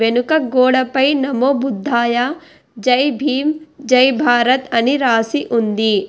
నూక గోడ పై నమో బుద్ధాయ జై భీమ్ జై భారత్ అని రాసి ఉంది.